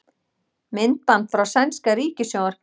Myndband frá sænska ríkissjónvarpinu